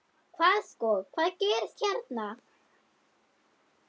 Hvað sko, hvað gerist hérna?